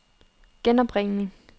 genopringning